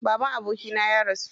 Baban abokina ya rasu.